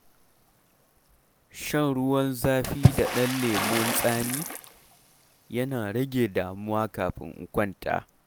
Shan ruwan zafi da ɗan lemon tsami yana rage damuwa kafin in kwanta.